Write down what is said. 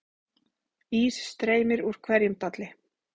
Ís streymir úr hverjum dalli